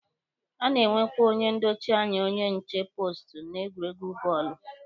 A na-enwekwa onye ndochi anya onye nche poostu n'egwuregwu bọọlụ.